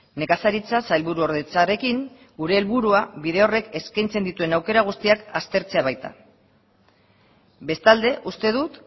nekazaritza sailburuordetzarekin gure helburua bide horrek eskaintzen dituen aukera guztiak aztertzea baita bestalde uste dut